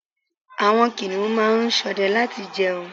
Àwọn kìnìún máa ń sọdẹ láti jẹun